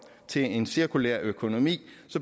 til en cirkulær økonomi